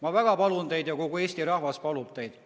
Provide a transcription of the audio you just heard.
Ma väga palun teid ja kogu Eesti rahvas palub teid.